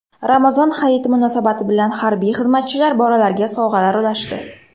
Ramazon Hayiti munosabati bilan harbiy xizmatchilar bolalarga sovg‘alar ulashdi.